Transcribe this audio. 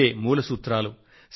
ఇవే మూల సూత్రాలు